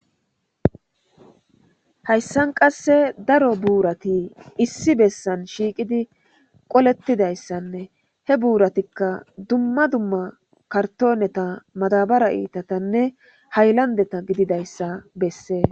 Haysani qasse darro burati issi bessani shiqidi qoletidayisane he buratikka duma duma karitoneta madabara itatane hayilandeta gididayisa besesi